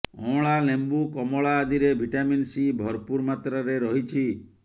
ଅଁଳା ଲେମ୍ବୁ କମଳା ଆଦିରେ ଭିଟାମିନ୍ ସି ଭର୍ପୂର ମାତ୍ରାରେ ରହିଛି